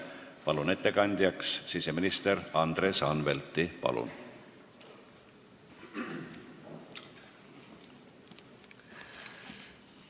Palun ettekandjaks siseminister Andres Anvelti!